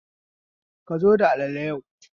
Ka zo da alalale yau